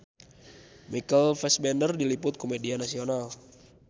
Michael Fassbender diliput ku media nasional